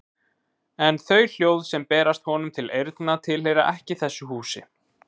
En þau hljóð sem berast honum til eyrna tilheyra ekki þessu húsi.